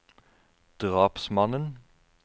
drapsmannen